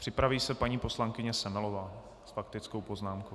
Připraví se paní poslankyně Semelová s faktickou poznámkou.